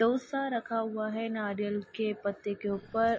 डोसा रखा हुआ है नारियल के पत्ते के ऊपर।